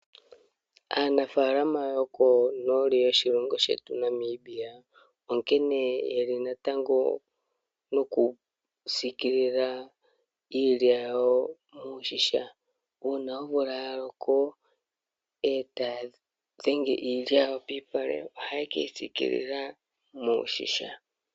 Aanafalama yomoshilongo shetu Namibia onkene natango okusikilila iilya yawo miigadhi nenge iilya yawo piipale ohaye keyi siikilila miigadhi.